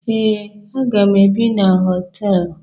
Ee, aga m ebi na hostelụ.